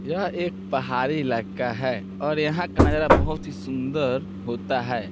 यह एक पहाड़ी इलाका है और यहाँ का नज़ारा बहुत ही सुंदर होता है।